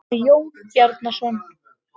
sagði Jón Bjarnason.